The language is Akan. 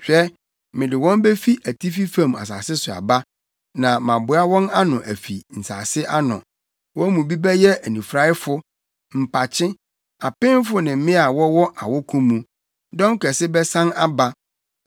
Hwɛ, mede wɔn befi atifi fam asase so aba na maboa wɔn ano afi nsase ano. Wɔn mu bi bɛyɛ anifuraefo, mpakye, apemfo ne mmea a wɔwɔ awoko mu; dɔm kɛse bɛsan aba.